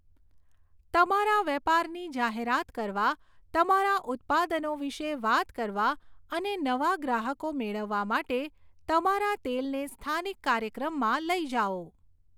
તમારા વેપારની જાહેરાત કરવા, તમારા ઉત્પાદનો વિશે વાત કરવા અને નવા ગ્રાહકો મેળવવા માટે તમારા તેલને સ્થાનિક કાર્યક્રમમાં લઈ જાઓ.